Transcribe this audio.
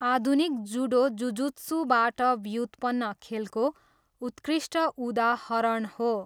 आधुनिक जुडो जुजुत्सूबाट व्युत्पन्न खेलको उत्कृष्ट उदाहरण हो।